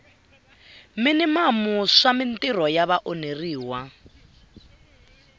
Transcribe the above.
minimamu swa mintirho ya vaonheriwa